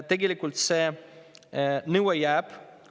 Tegelikult see nõue jääb.